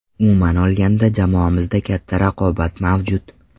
Umuman olganda, jamoamizda katta raqobat mavjud.